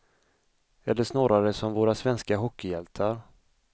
Eller snarare som våra svenska hockeyhjältar.